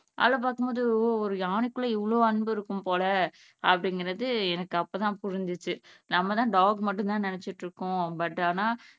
அதெல்லாம் பாக்கும்போது ஒரு யானைக்குள்ள இவ்வளவு அன்பு இருக்கும் போல அப்படிங்கிறது எனக்கு அப்ப தான் புரிஞசுச்சு நம்ம தான் டாக் மட்டுந்தான்னு நினைச்சுட்டு இருக்ககோம் but ஆனா